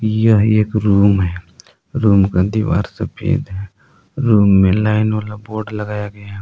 यह एक रूम है रूम का दीवार सफेद है रूम में लाइन वाला बोर्ड लगाया गया है।